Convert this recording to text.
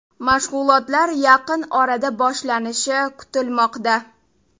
Mashg‘ulotlar yaqin orada boshlanishi kutilmoqda.